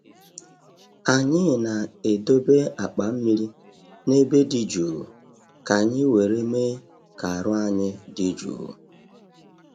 Anyị na-edobe akpa mmiri n’ebe dị jụụ ka anyị were me ka aru ayi di juu